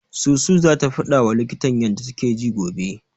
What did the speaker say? Susu zata faɗawa likitan ta yanda take ji gobe.